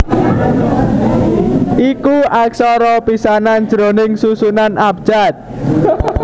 iku aksara pisanan jroning susunan abjad